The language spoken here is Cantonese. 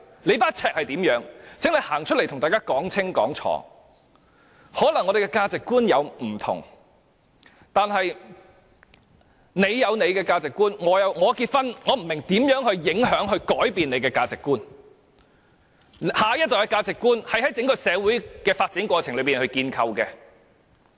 或許我們的價值觀不同，我有我的價值觀，你有你的，我不明白我結婚如何影響或改變你的價值觀，而下一代的價值觀是在整個社會發展的過程中建構的。